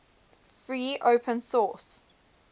free open source